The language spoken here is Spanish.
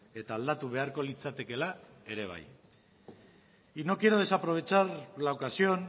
eta aldatu beharko litzatekela ere bai y no quiero desaprovechar la ocasión